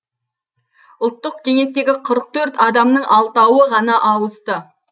ұлттық кеңестегі қырық төрт адамның алтауы ғана ауысты